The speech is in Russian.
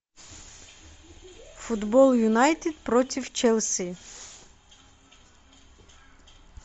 футбол юнайтед против челси